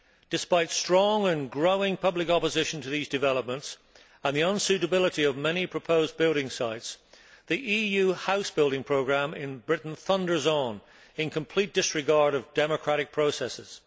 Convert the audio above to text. Despite strong and growing public opposition to these developments, and the unsuitability of many proposed building sites, the EU house building programme in Britain thunders on in complete disregard of democratic processes.